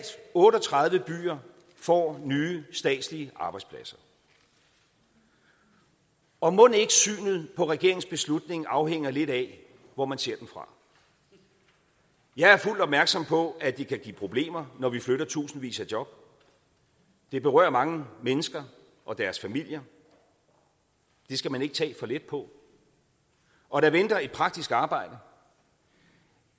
otte og tredive byer får nye statslige arbejdspladser og og mon ikke synet på regeringens beslutning afhænger lidt af hvor man ser den fra jeg er fuldt opmærksom på at det kan give problemer når vi flytter tusindvis af job det berører mange mennesker og deres familier det skal man ikke tage for let på og der venter et praktisk arbejde